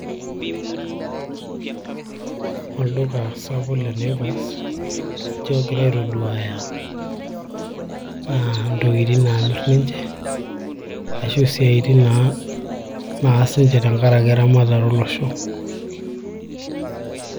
Olduka sapuk le naivas ninche oogira aitoduaya aa intokitin naamirr ninche ashu isiatin naa naas ninche tenkaraki eramatare olosho.